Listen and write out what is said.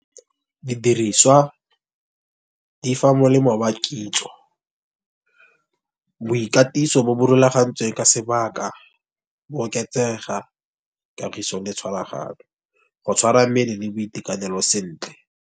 Didiriswa di fa molemo wa kitso boikatiso bo bo rulagantsweng, ka sebaka bo oketsega kagiso le tshwaraganyo. Go tshwara mmele le boitekanelo sentle.